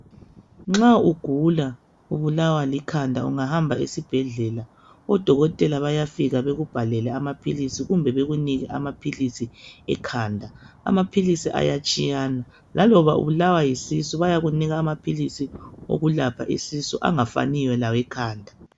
Nxa ugula ubulawa likhanda, ungahamba esibhedlela odokotela bayafika bekubhalele amaphilisi kumbe bekunike amaphilisi ekhanda. Amaphilisi ayatshiyana. Laloba ubulawa yisisu bayakunika amaphilisi okulapha isisu angafaniyo lawekhanda.